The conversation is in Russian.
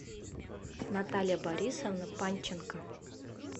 наталья борисовна панченко